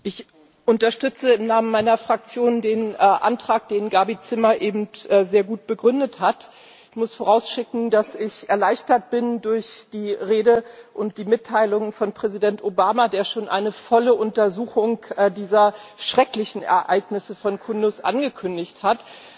Frau Präsidentin! Ich unterstütze im Namen meiner Fraktion den Antrag, den Gabi Zimmer eben sehr gut begründet hat. Ich muss vorausschicken, dass ich erleichtert bin durch die Rede und die Mitteilung von Präsident Obama, der schon eine volle Untersuchung dieser schrecklichen Ereignisse von Kundus angekündigt hat.